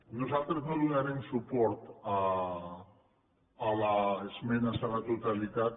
nosaltres no donarem suport a les esmenes a la totalitat